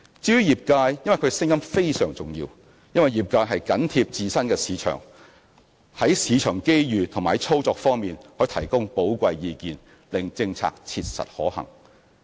至於業界，他們的聲音非常重要，因為業界緊貼自身市場，在市場機遇和操作方面可給予寶貴意見，令政策切實可行。